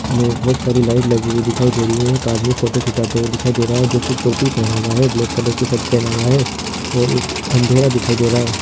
मे बहुत सारी लाइट लगी हुई दिखाई दे रही है एक आदमी फोटो खिचाते हुए दिखाई दे रहा है जो की टोपी पहना हुआ है ब्लैक कलर की शर्ट पहना हुआ है और उस अंधेरा दिखाई दे रहा है।